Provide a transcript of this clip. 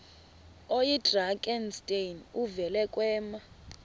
oyidrakenstein uvele kwema